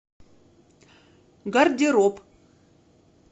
гардероб